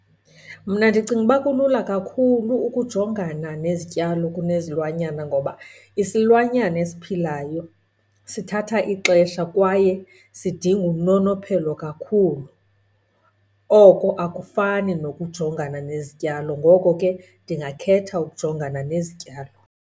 Mna ndicinga uba kulula kakhulu ukujongana nezityalo kunezilwanyana ngoba isilwanyana esiphilayo sithatha ixesha kwaye sidinga unonophelo kakhulu. Oko akufani nokujongana nezityalo, ngoko ke ndingakhetha ukujongana nezityalo.